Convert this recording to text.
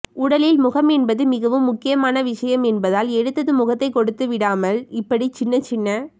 உடலில் முகம் என்பது மிகவும் முக்கியமான விஷயம் என்பதால் எடுத்ததும் முகத்தைக் கொடுத்து விடாமல் இப்படி சின்ன சின்ன